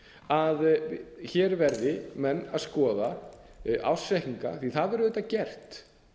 að hér verði menn að skoða ársreikninga því það verður auðvitað gert